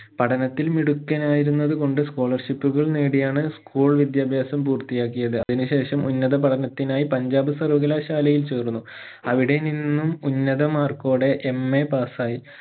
പഠനത്തിൽ മിടുക്കനായിരുന്നത് കൊണ്ട് scholarship കൾ നേടിയാണ് school വിദ്യാഭാസം പൂർത്തിയാക്കിയത് അതിന് ശേഷം ഉന്നത പഠനത്തിനായി പഞ്ചാബ് സർവകലാശാലയിൽ ചേർന്നു അവിടെ നിന്നും ഉന്നത മാർക്കോടെ MA pass ആയി